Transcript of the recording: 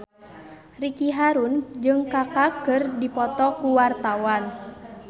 Ricky Harun jeung Kaka keur dipoto ku wartawan